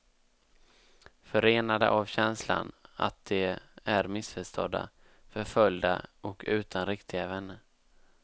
Förenade av känslan att de är missförstådda, förföljda och utan riktiga vänner.